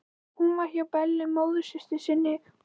Hún verður hjá Bellu móðursystur sinni, hún.